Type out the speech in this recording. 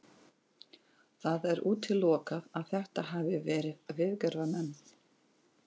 Það er útilokað að þetta hafi verið viðgerðarmenn.